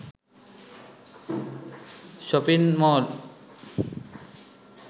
shopping mall